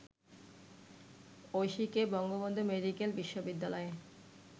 ঐশীকে Bangabandhu medical বিশ্ববিদ্যালয়ে